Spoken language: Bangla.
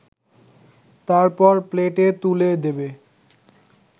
তারপর প্লেটে তুলে দেবে